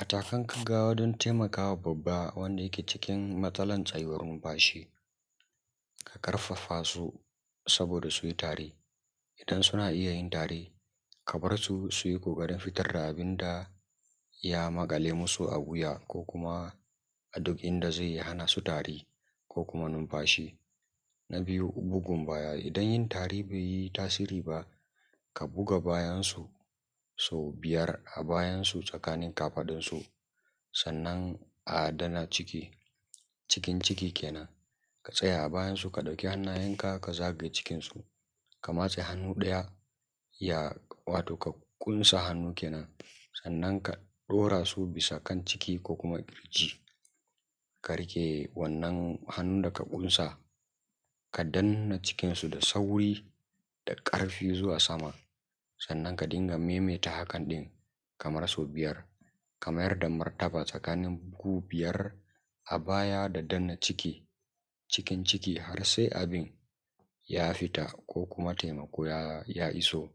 matakan gaggawa don taimakawa babba wanda ake cikin matsalar tsayawar numfashi a ƙarfafa su saboda su yi tare idan suna iya yi tare ka barsu su yi ƙoƙarin fitar da abinda ya maƙale musu a wuya ko kuma a duk inda zai hana su tari ko kuma numfashi na biyu bugun baya idan yin tari baiyi tasiri ba ka buga bayansu sau biyar a bayansu tsakanin kafaɗansa sannan a danna ciki cikin ciki kenan ka tsaya a bayansa ka dauki hannayenka ka zagaye cikinsa ka matse hannu ɗaya wato ka kunsa hannu kenan sannan ka ɗora su bisa kan ciki ko kuma kirji ka rike wannan hannun da ka kunsa ka danna cikinsa da sauri da ƙarfi zuwa sama sannan ka dinga maimaita hakan ɗin kamar sau biyar ka mayar da martaba tsakanin ka biyar a baya da danna ciki cikin ciki har sai abin ya fita ko kuma taimako ya ya iso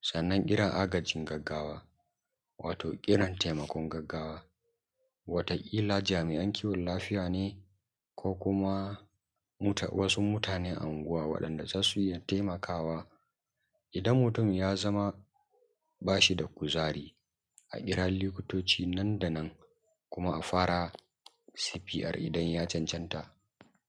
sannan irin agajin gaggawa wato irin taimakon gaggawa wata ƙila jami`an kiwon lafiya ne ko kum muta wasu mutane a unguwan wanda zasu iya taimakawa idan mutum ya zama bashi da kuzari a kira lukutoci nan da nan kuma a fara safiyar idan ya cancanta